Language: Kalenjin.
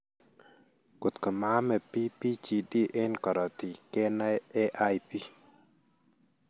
Kotko maame PBGD en korotik, kenaey AIP.